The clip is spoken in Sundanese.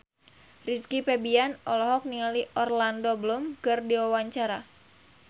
Rizky Febian olohok ningali Orlando Bloom keur diwawancara